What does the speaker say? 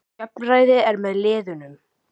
Jafnræði er með liðunum.